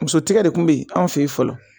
Musotigi de kun be yen an fe yen fɔlɔ